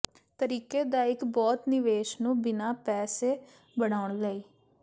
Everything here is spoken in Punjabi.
ਤਰੀਕੇ ਦਾ ਇੱਕ ਬਹੁਤ ਨਿਵੇਸ਼ ਨੂੰ ਬਿਨਾ ਪੈਸੇ ਬਣਾਉਣ ਲਈ